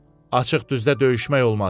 Açıq düzdə döyüşmək olmaz.